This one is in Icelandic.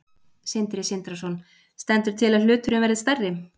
Sindri Sindrason: Stendur til að hluturinn verði stærri?